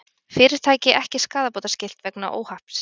Fyrirtæki ekki skaðabótaskylt vegna óhapps